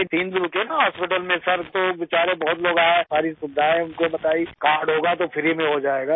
ہم تو وہیں تین دن رکے نا اسپتال میں سر تو بیچارے بہت لوگ آئے ، ساری سہولتیں ان کو بتائیں ، کارڈ ہوگا تو مفت میں ہو جائے گا